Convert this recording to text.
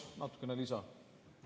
Paluks natukene lisa!